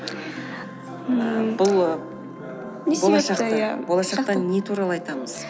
ммм бұл болашақта не туралы айтамыз